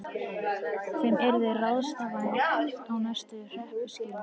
Þeim yrði ráðstafað á næstu hreppskilum.